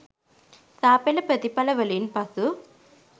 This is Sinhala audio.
සා.පෙළ ප්‍රතිඵලවලින් පසු